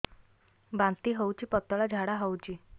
ବାନ୍ତି ହଉଚି ପତଳା ଝାଡା ହଉଚି